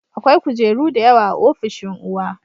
Akwai kujeru da yawa a ofishin uwa